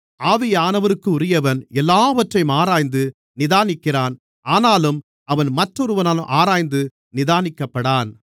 ஆவியானவருக்குரியவன் எல்லாவற்றையும் ஆராய்ந்து நிதானிக்கிறான் ஆனாலும் அவன் மற்றொருவனாலும் ஆராய்ந்து நிதானிக்கப்படான்